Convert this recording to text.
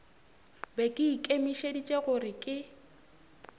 be ke ikemišeditše gore ke